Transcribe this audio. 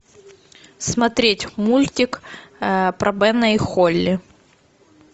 смотреть мультик про бена и холли